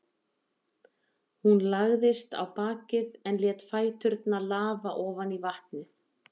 Hún lagðist á bakið en lét fæturna lafa ofan í vatnið.